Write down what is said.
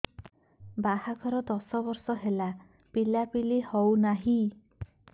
ବାହାଘର ଦଶ ବର୍ଷ ହେଲା ପିଲାପିଲି ହଉନାହି